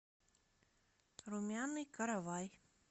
румяный каравай